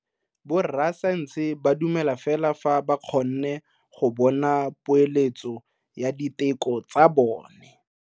Borra saense ba dumela fela fa ba kgonne go bona poeletso ya diteko tsa bone.